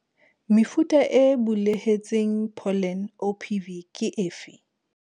Mefuta e bulehetseng pholene, OPV, ke efe?